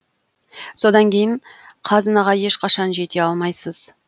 содан кейін қазынаға ешқашан жете алмайсыз